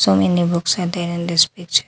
So many books are there in this picture.